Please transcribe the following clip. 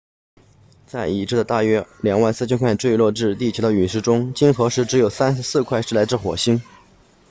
在已知的大约 24,000 块坠落至地球的陨石中经核实只有34块是来自火星